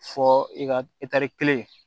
Fɔ i ka etari kelen